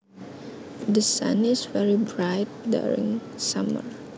The sun is very bright during summer